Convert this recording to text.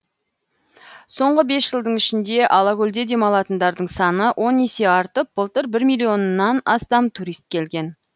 соңғы бес жылдың ішінде алакөлде демалатындардың саны он есе артып былтыр бір миллионнан астам турист келген